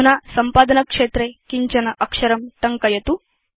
अधुना सम्पादनक्षेत्रे किञ्चन अक्षरं टङ्कयतु